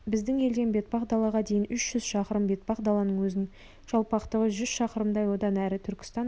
біздің елден бетпақдалаға дейін үш жүз шақырым бетпақдаланың өзінің жалпақтығы жүз шақырымдай одан әрі түркістан аймағы